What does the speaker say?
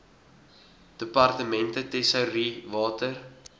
departemente tesourie water